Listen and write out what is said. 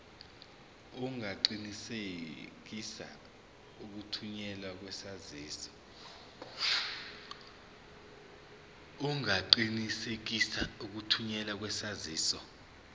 ungaqinisekisa ukuthunyelwa kwesaziso